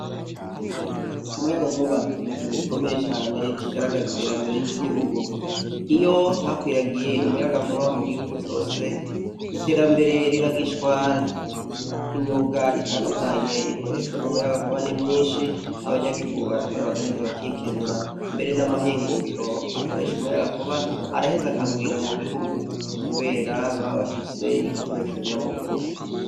Umuyaga nkuba ni ikintu gikomeye cane ikigaragaza iterambere ry'igihugu, iyo hakwiragiye umuyaga nkuba mu gihugu cose iterambere riragishwara, imyuga itandukanye ikoreshwa n'umuyaga nkuba nimyinshi abanyagiguu barakora abagaheza abakikenura , mbere n'amahinguriro akorasha umuyaga nkuba araheze akagwira mu gihugu, kubera babafise igikoresho nyamukuru.